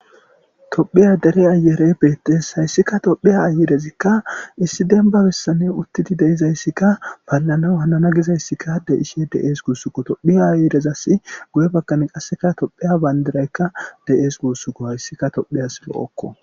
Tophiya dere ayereyi beetes, haysika tophiya dere ayerezika issi demba besani utidi de'izaysika palanawu hanana gizaysika de'ishe de'es guusuko. Tophiya ayerezasi guye bgani qaseka tophiya bandirayka de'es guusuko, haysika tophiyas lo'oko.